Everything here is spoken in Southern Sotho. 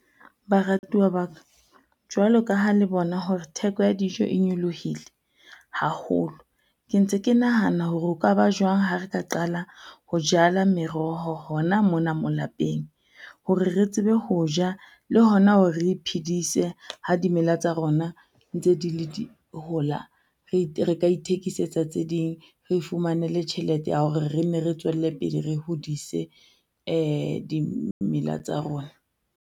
Baratuwa ba ka, jwalo ka ha le bona hore theko ya dijo e nyolohile haholo. Ke ntse ke nahana hore ho ka ba jwang ha re ka qala ho jala meroho hona mona moo lapeng? Hore re tsebe ho ja le hona hore re iphidise ha dimela tsa rona ntse di le di, hola. Re ka ithekisetsa tse ding, re ifumanele tjhelete ya hore re nne re tswelle pele re hodise dimela tsa rona.